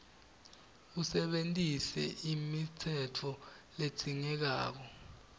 usebentise imitsetfo ledzingekako